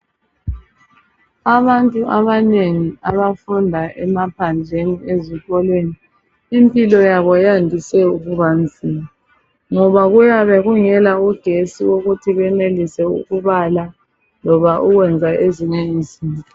Abantu abanengi abafunda emaphandleni ezikolweni, impilo yabo yandise ukuba nzima, ngoba kuyabe kungela ugetsi ukuthi benelise ukubala loba ukwenza ezinye izinto.